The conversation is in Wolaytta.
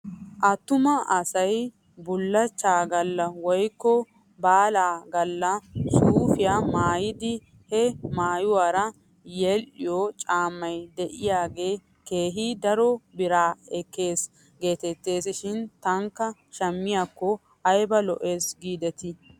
Attuma asay bullachchaa galla woykko baalaa galla suufiyaa maayidi he maayuwaara yedhdhiyoo caammay de'iyaagee keehi daro bira ekkes geettes shin tankka shmmiyaakko ayba lo'es giidetii!